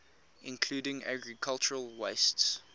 including agricultural wastes